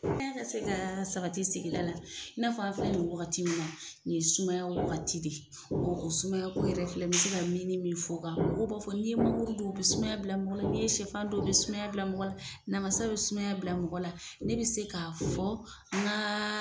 ka se ka sabati sigida la i n'a fɔ an filɛ nin ye wagati min na nin ye sumaya wagati de ye o sumayako yɛrɛ filɛ n bɛ se ka minnin min f'o kan mɔgɔ b'a fɔ n'i ye mangoro don o bɛ sumaya bila mɔgɔ la n'i ye siyɛfan dun o bɛ sumaya bila mɔgɔ la namasa bɛ sumaya bila mɔgɔ la ne bɛ se k'a fɔ n ka.